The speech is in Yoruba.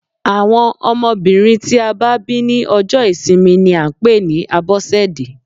Àwọn ọmọbìnrin tí a bá bí ní ọjọ́ ìsinmi ni à ń pè ní Abọ́sẹ̀dé.